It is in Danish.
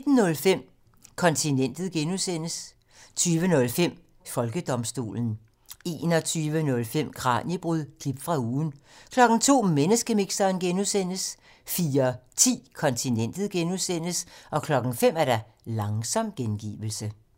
19:05: Kontinentet (G) 20:05: Folkedomstolen 21:05: Kraniebrud – klip fra ugen 02:00: Menneskemixeren (G) 04:10: Kontinentet (G) 05:00: Langsom gengivelse